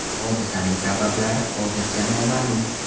Hodisaning sabablari hozircha noma’lum.